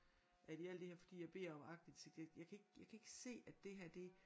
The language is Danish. At i alt det her fordi jeg beder om aktindsigt jeg jeg kan ikke jeg kan ikke se at det her det